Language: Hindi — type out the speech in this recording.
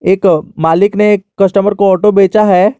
एक मालिक ने कस्टमर को ऑटो बेचा है।